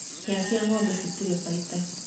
Hĩa cia ngombe citirĩ baita.